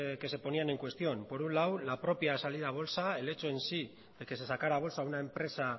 que se ponían en cuestión por un lado la propia salida a bolsa el hecho en sí de que se sacara a bolsa una empresa